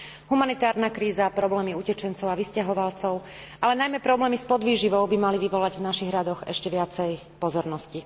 Humanitárna kríza, problémy utečencov a vysťahovalcov, ale najmä problémy s podvýživou by mali vyvolať v našich radoch ešte viacej pozornosti.